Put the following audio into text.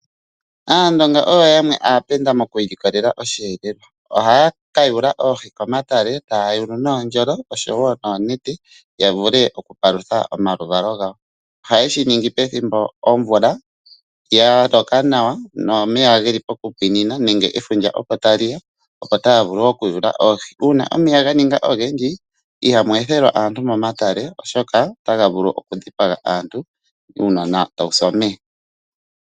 Aandonga oyo yamwe aapenda moku ilikolele oshihelelwa, ohaya ka yuula oohi komatale taya yulu noondjolo oshowo noonete. Ya vule okupalutha omaluvalo gawo, ohaye shi ningi pethimbo omvula ya loka nawa, nomeya geli pokupwinina nefundja opo tali ya, opo. taya vulu okuyuula oohi. Uunaomeya ga ninga ogendji, ihamu ethelwa aantu momatale oshoka otaga vulu okudhipanga aantu, uunona tawu si omeya.